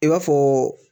I b'a fɔ